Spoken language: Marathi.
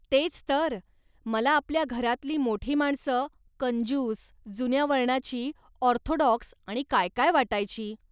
तेच तर ! मला आपल्या घरातली मोठी माणसं कंजूष, जुन्या वळणाची, ऑर्थोडॉक्स आणि काय काय वाटायची.